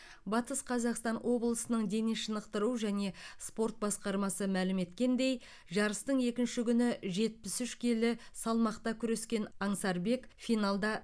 батыс қазақстан облысының дене шынықтыру және спорт басқармасы мәлім еткендей жарыстың екінші күні жетпіс үш келі салмақта күрескен аңсарбек финалда